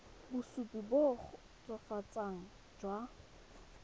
bosupi jo bo kgotsofatsang jwa